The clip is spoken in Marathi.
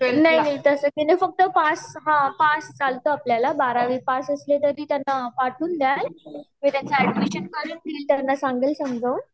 तस काही नाही फक्त पास पास पाहिजे आपल्याला बारावी पास असले तरी त्यांना पाठवून दयाल मी त्यांचा एड्मिशन करून घेल आणि संगेल समजवून